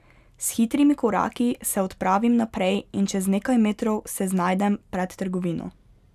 S hitrimi koraki se odpravim naprej in čez nekaj metrov se znajdem pred trgovino.